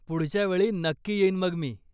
पुढच्या वेळी नक्की येईन मग मी.